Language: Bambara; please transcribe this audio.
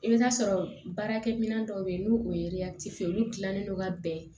I bɛ taa sɔrɔ baarakɛminɛn dɔw bɛ yen n'o ye ye olu dilannen don ka bɛn